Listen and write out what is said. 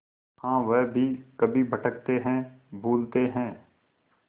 हाँ वह भी कभी भटकते हैं भूलते हैं